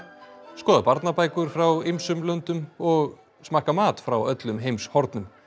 skoða barnabækur frá ýmsum löndum og smakka mat frá öllum heimshornum